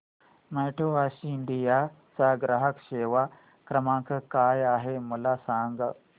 My Taxi India चा ग्राहक सेवा क्रमांक काय आहे मला सांग